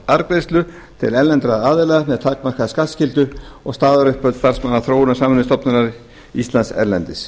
arðgreiðslur til erlendra aðila með takmarkaða skattskyldu og staðaruppbót starfsmanna þróunarsamvinnustofnunar íslands erlendis